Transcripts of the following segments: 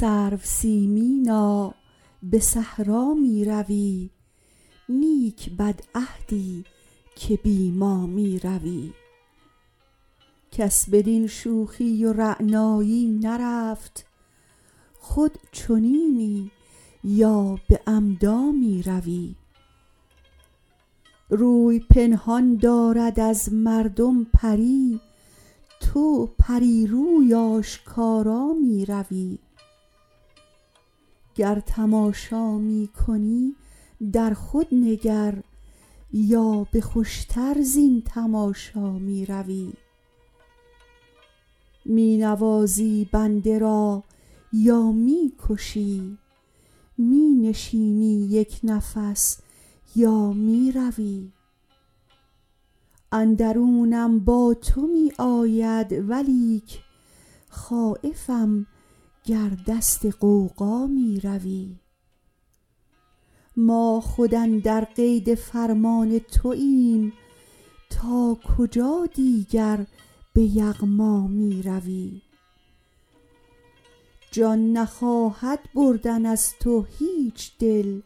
سرو سیمینا به صحرا می روی نیک بدعهدی که بی ما می روی کس بدین شوخی و رعنایی نرفت خود چنینی یا به عمدا می روی روی پنهان دارد از مردم پری تو پری روی آشکارا می روی گر تماشا می کنی در خود نگر یا به خوش تر زین تماشا می روی می نوازی بنده را یا می کشی می نشینی یک نفس یا می روی اندرونم با تو می آید ولیک خایفم گر دست غوغا می روی ما خود اندر قید فرمان توایم تا کجا دیگر به یغما می روی جان نخواهد بردن از تو هیچ دل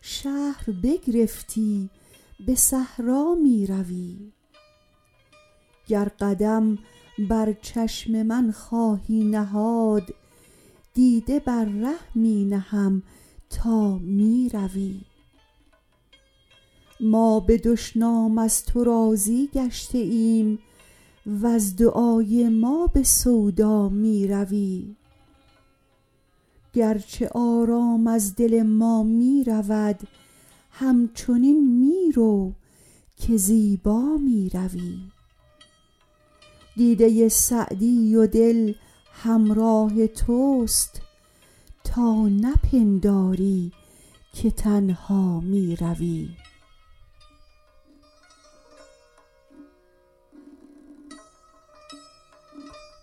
شهر بگرفتی به صحرا می روی گر قدم بر چشم من خواهی نهاد دیده بر ره می نهم تا می روی ما به دشنام از تو راضی گشته ایم وز دعای ما به سودا می روی گرچه آرام از دل ما می رود همچنین می رو که زیبا می روی دیده سعدی و دل همراه توست تا نپنداری که تنها می روی